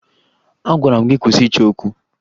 Agwara m gị kwụsị ịchọ okwu!